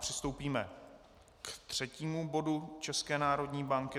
Přistoupíme ke třetímu bodu České národní banky.